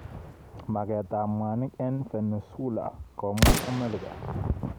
Maket ab mwanik. eng Venezuela komwa Amerika.